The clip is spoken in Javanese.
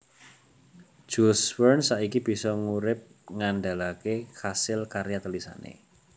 Jules Verne saiki bisa ngurip ngandhalaké kasil karya tulisané